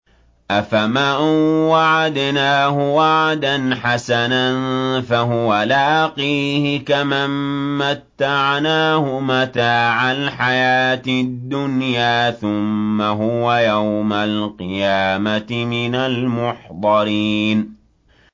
أَفَمَن وَعَدْنَاهُ وَعْدًا حَسَنًا فَهُوَ لَاقِيهِ كَمَن مَّتَّعْنَاهُ مَتَاعَ الْحَيَاةِ الدُّنْيَا ثُمَّ هُوَ يَوْمَ الْقِيَامَةِ مِنَ الْمُحْضَرِينَ